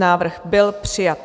Návrh byl přijat.